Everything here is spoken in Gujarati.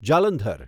જાલંધર